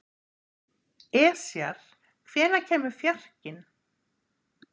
Esjar, hvenær kemur fjarkinn?